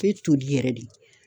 Bɛ toli yɛrɛ de.